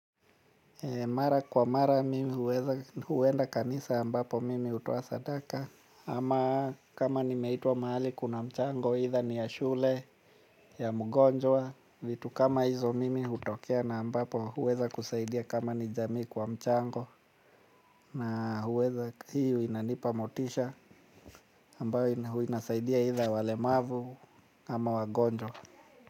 Mara kwa mara mimi huweza huenda kanisa ambapo mimi hutoa sadaka ama kama nimeitwa mahali kuna mchango aidha ni ya shule ya mgonjwa vitu kama hizo mimi hutokea na ambapo huweza kusaidia kama ni jamii kwa mchango na huweza hiyo inanipa motisha ambayo inasaidia aidha walemavu ama wagonjwa.